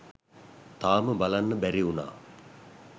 තාම බලන්න බැරි වුනා